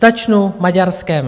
Začnu Maďarskem.